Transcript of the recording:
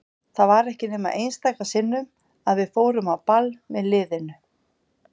Það var ekki nema einstaka sinnum að við fórum á ball með liðinu.